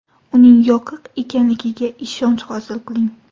Uning yoqiq ekanligiga ishonch hosil qiling.